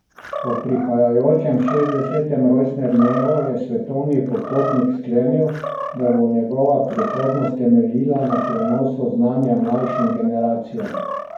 Ob prihajajočem šestdesetem rojstnem dnevu je svetovni popotnik sklenil, da bo njegova prihodnost temeljila na prenosu znanja mlajšim generacijam.